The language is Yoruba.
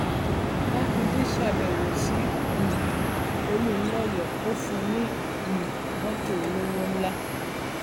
mákindé ṣàbẹwò sí um olùńlọyọ ó fún un ní um mọtò olówó ńlá